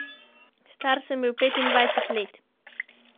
Star sem bil petindvajset let.